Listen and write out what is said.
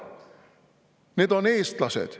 Need on eestlased.